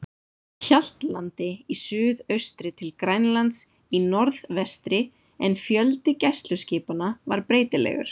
Hjaltlandi í suðaustri til Grænlands í norðvestri, en fjöldi gæsluskipanna var breytilegur.